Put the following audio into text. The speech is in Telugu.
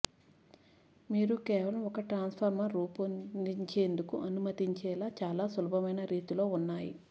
మీరు కేవలం ఒక ట్రాన్స్ఫార్మర్ రూపాన్ని పొందేందుకు అనుమతించే చాలా సులభమైన రీతులు ఉన్నాయి